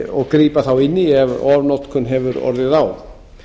og grípa þá inn í ef ofnotkun hefur orðið á